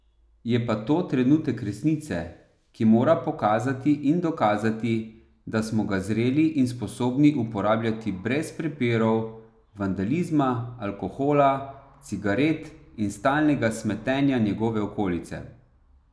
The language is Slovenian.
Je pa to trenutek resnice, ki mora pokazati in dokazati, da smo ga zreli in sposobni uporabljati brez prepirov, vandalizma, alkohola, cigaret in stalnega smetenja njegove okolice.